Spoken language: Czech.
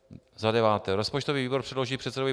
Bod 9: Rozpočtový výbor předloží předsedovi